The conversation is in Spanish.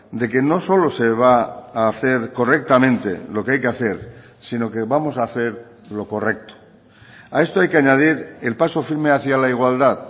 de que no solo se va a hacer correctamente lo que hay que hacer sino que vamos a hacer lo correcto a esto hay que añadir el paso firme hacia la igualdad